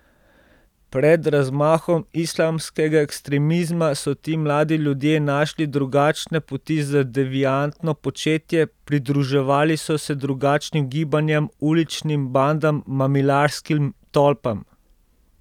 Pred razmahom islamskega ekstremizma so ti mladi ljudje našli drugačne poti za deviantno početje, pridruževali so se drugačnim gibanjem, uličnim bandam, mamilarskim tolpam.